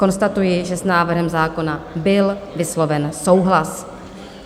Konstatuji, že s návrhem zákona byl vysloven souhlas.